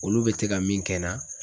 Olu bɛ te ka min kɛ na